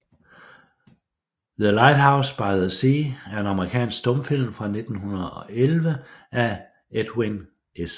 The Lighthouse by the Sea er en amerikansk stumfilm fra 1911 af Edwin S